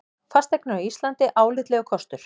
Fasteignir á Íslandi álitlegur kostur